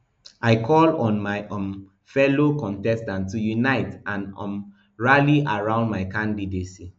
i call on my my um fellow contestants to unite and um rally around my candidacy